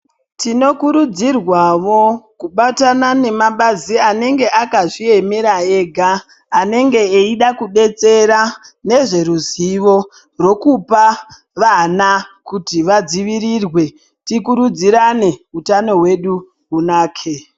Tino kurudzirwawo kubatana nemabazi anenge akazviemera ega anenge eida kubetsera nezveruzivo rokupa vana kuti vadzivirirwe tikurudzirane hutano hwedu hunake.